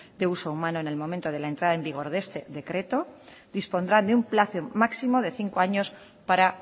de uso humano en el momento de la entrada en vigor de este decreto dispondrá de un plazo máximo de cinco años para